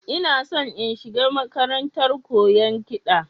Ina shi in shiga makarantar koyan kiɗa